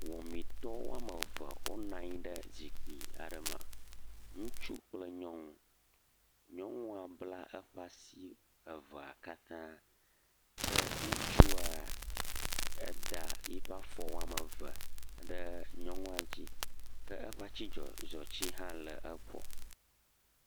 Wɔmitɔ woame eve wonɔ anyi ɖe zikpui aɖe me. Ŋutsu kple nyɔnu. Nyɔnua bla eƒe asi evea katã ke ŋutsua eda eƒe afɔ woame eve ɖe nyɔnua dzi ke eƒe atizɔti hã le egbɔ.